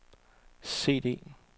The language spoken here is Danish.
CD